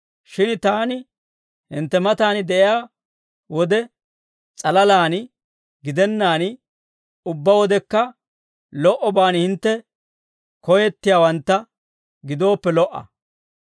Shin taani hintte matan de'iyaa wode s'alalaan gidennaan, ubbaa wodekka lo"obaan hintte koyettiyaawantta gidooppe lo"a.